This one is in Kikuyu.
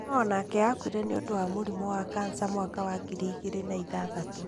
No onake akuire niũndũ wa mũrimũ wa kansa mwaka wa ngiri igĩrĩ na ithathatũ.